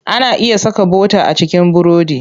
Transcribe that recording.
Ana iya saka bota a cikin burodi.